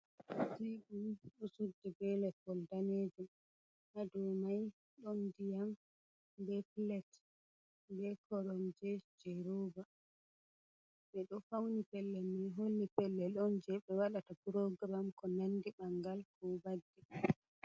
Teebur ɗo suddi bee leppol daneejum haa dow mai ɗon ndiyam bee pilet bei koromje jey roona, ɓe ɗo fawni pellel mai holli pellel on jet ɓe waɗata puroogiram koo nandi ɓanngal ko vaddi.